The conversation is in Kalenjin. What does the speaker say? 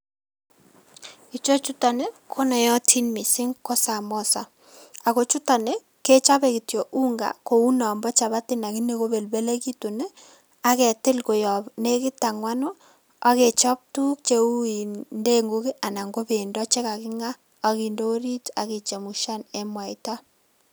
Ichechuton ii konootin missing ko samoza ako chuton ii kechobe kitytok unga kou nombo chapati lakini kobelbelekitun ii aketil koyob nekit angwanu akechob tukuk cheu ndengu anan ko bendo chekakinga akinde orit akichemshan en mwaita.